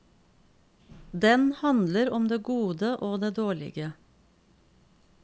Den handler om det gode og det dårlige.